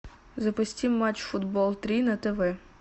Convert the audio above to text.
запусти матч футбол три на тв